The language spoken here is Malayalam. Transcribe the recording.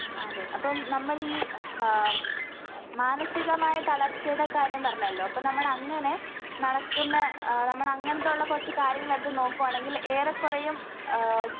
അതെ അപ്പം നമ്മളിൽ ഹാ ഉം മാനസികമായിത്തളർച്ചയുടെ കാര്യം പറഞ്ഞല്ലോ അപ്പ നമ്മളങ്ങനെ നടക്കിന്ന ആഹ് നമ്മളങ്ങനത്തൊള്ള കൊറച്ച് കാര്യങ്ങളെടുത്ത് നോക്കുവാണെങ്കിൽ ഏറെക്കൊറെയും ഏഹ്